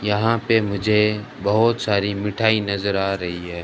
यहां पे मुझे बहोत सारी मिठाई नजर आ रही है।